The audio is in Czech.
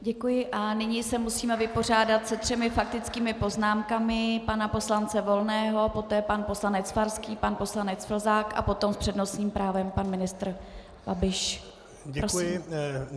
Děkuji a nyní se musíme vypořádat se třemi faktickými poznámkami - pana poslance Volného, poté pan poslanec Farský, pan poslanec Plzák a potom s přednostním právem pan ministr Babiš.